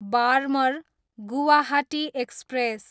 Barmer, Guwahati express